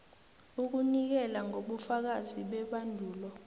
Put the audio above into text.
ukunikela ngobufakazi bebandulo